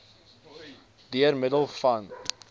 deur middel van